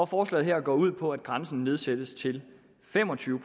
forslaget her går ud på at grænsen nedsættes til fem og tyve